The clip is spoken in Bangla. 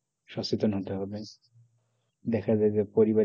সচেতন হতে হবে দেখা যায় যে পরিবারের যদি কেউ,